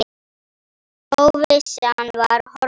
Óvissan var horfin.